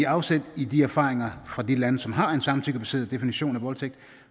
afsæt i de erfaringer fra de lande som har en samtykkebaseret definition af voldtægt